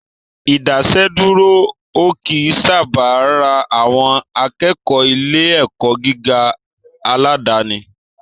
Ìdásẹ́dúró ò kí ń sábà ran àwọn akẹ́kọ̀ọ́ ilé ẹ̀kọ́ gíga aládàníi